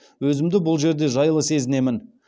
өзімді бұл жерде жайлы сезінемін